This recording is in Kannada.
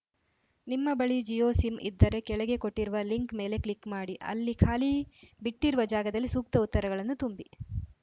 ನಿಮ್ಮ ಬಳಿ ಜಿಯೋ ಸಿಮ್‌ ಇದ್ದರೆ ಕೆಳಗೆ ಕೊಟ್ಟಿರುವ ಲಿಂಕ್‌ ಮೇಲೆ ಕ್ಲಿಕ್‌ ಮಾಡಿ ಅಲ್ಲಿ ಖಾಲಿ ಬಿಟ್ಟಿರುವ ಜಾಗದಲ್ಲಿ ಸೂಕ್ತ ಉತ್ತರಗಳನ್ನು ತುಂಬಿ